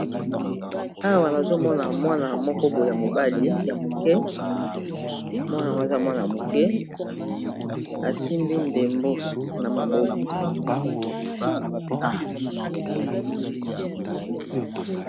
Awa nazomona mwana mokoboye ya mobale ya moke mwana ngo aza mwana moke asimbi ndembo na maboko.